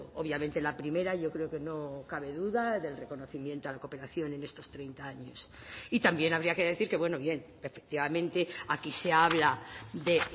obviamente la primera yo creo que no cabe duda del reconocimiento a la cooperación en estos treinta años y también habría que decir que bueno bien efectivamente aquí se habla de